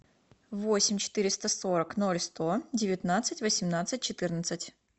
восемь четыреста сорок ноль сто девятнадцать восемнадцать четырнадцать